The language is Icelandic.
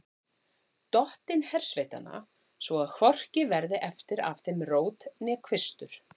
Dottinn hersveitanna, svo að hvorki verði eftir af þeim rót né kvistur.